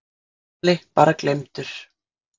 Lalli bara gleymdur.